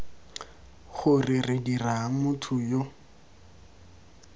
gore re dirang motho yo